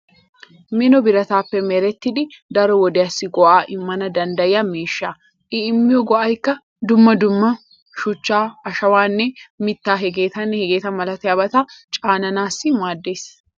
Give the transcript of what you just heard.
Mino birataape merettidi daro wodiyaassi go'aa immana danddayiya miishsha. I immiyo go'aykka dumma dumma shuchchaa, ashawaanne mittaa hegeetanne hegeeta malatiyaabata caananaassi maaddeees.